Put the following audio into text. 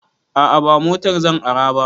A'a ba motar zan ara ba